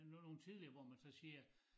Men det var nogn tidligere hvor man så siger